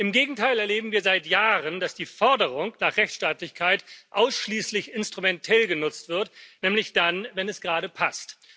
Im Gegenteil erleben wir seit Jahren, dass die Forderung nach Rechtsstaatlichkeit ausschließlich instrumentell genutzt wird, nämlich dann, wenn es gerade passt.